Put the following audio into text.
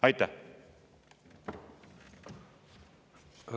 Aitäh!